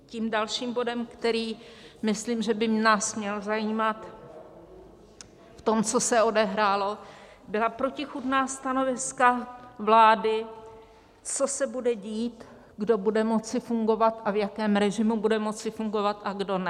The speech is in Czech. Tím dalším bodem, který myslím, že by nás měl zajímat v tom, co se odehrálo, byla protichůdná stanoviska vlády, co se bude dít, kdo bude moci fungovat a v jakém režimu bude moci fungovat a kdo ne.